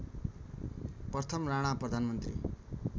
प्रथम राणा प्रधानमन्त्री